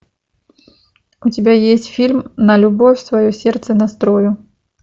у тебя есть фильм на любовь свое сердце настрою